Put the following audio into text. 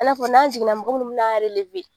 I n'a fɔ n'a jiginna mɔgɔ minnu men'an